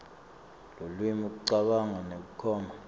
lulwimi kucabanga nekunoma